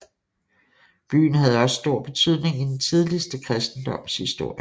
Byen havde også stor betydning i den tidligste kristendoms historie